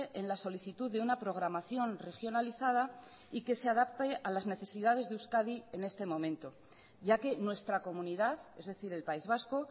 en la solicitud de una programación regionalizada y que se adapte a las necesidades de euskadi en este momento ya que nuestra comunidad es decir el país vasco